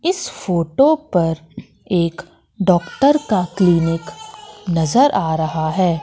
इस फोटो पर एक डॉक्टर का क्लीनिक नजर आ रहा है।